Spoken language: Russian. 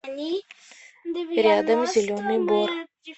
рядом зеленый бор